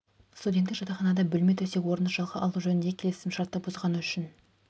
студенттік жатақханада бөлме төсек орынды жалға алу жөніндегі келісім шартты бұзғаны үшін